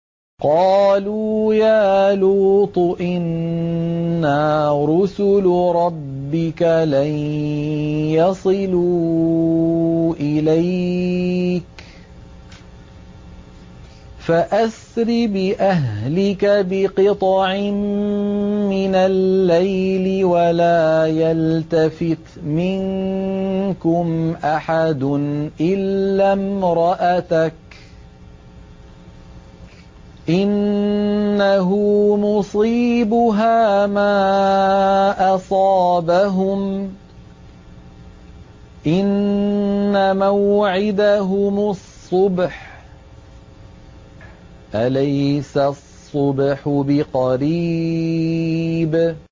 قَالُوا يَا لُوطُ إِنَّا رُسُلُ رَبِّكَ لَن يَصِلُوا إِلَيْكَ ۖ فَأَسْرِ بِأَهْلِكَ بِقِطْعٍ مِّنَ اللَّيْلِ وَلَا يَلْتَفِتْ مِنكُمْ أَحَدٌ إِلَّا امْرَأَتَكَ ۖ إِنَّهُ مُصِيبُهَا مَا أَصَابَهُمْ ۚ إِنَّ مَوْعِدَهُمُ الصُّبْحُ ۚ أَلَيْسَ الصُّبْحُ بِقَرِيبٍ